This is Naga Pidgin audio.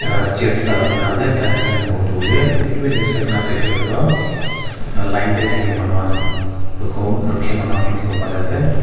ah chair dutah lagai nah ase client khan keh boho dibole nahoi lebhi left side fali sai she koi leduh line teh thaka manu khan rukho rukhia manu khan ke dikhiwo pari ase.